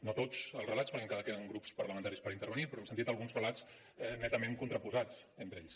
no tots els relats perquè encara queden grups parlamentaris per intervenir però hem sentit alguns relats netament contraposats entre ells